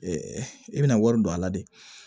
i bɛna wari don a la de